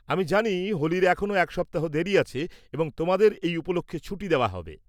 -আমি জানি হোলির এখনও এক সপ্তাহ দেরী আছে এবং তোমাদের এই উপলক্ষ্যে ছুটি দেওয়া হবে।